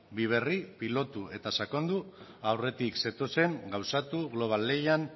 bi berri pilotu eta sakondu aurretik zetozen gauzatu global lehian